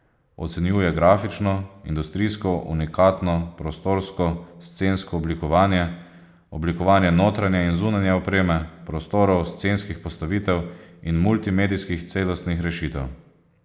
Ocenjuje grafično, industrijsko, unikatno, prostorsko, scensko oblikovanje, oblikovanje notranje in zunanje opreme, prostorov, scenskih postavitev in multimedijskih celostnih rešitev.